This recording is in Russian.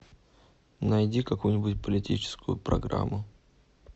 найди какую нибудь политическую программу